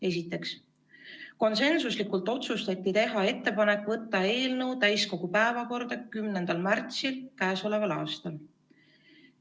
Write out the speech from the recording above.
Esiteks, konsensuslikult otsustati teha ettepanek võtta eelnõu täiskogu päevakorda k.a 10. märtsiks.